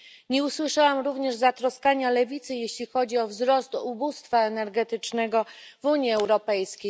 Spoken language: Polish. Nie usłyszałam również zatroskania lewicy, jeśli chodzi o wzrost ubóstwa energetycznego w Unii Europejskiej.